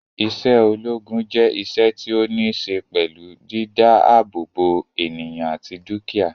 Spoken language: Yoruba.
Isé ológun je iṣẹ́ tí o ni se pẹlú dídá àbò bo ènìyàn àti dukia